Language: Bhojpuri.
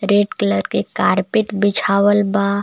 रेड कलर के कारपेट बिछावल बा.